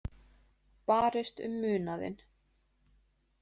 Barist um munaðinn